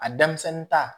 A denmisɛnnin ta